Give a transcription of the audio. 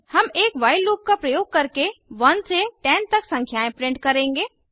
हम एक while loop का प्रयोग करके 1 से 10 तक संख्याएं प्रिंट करेंगे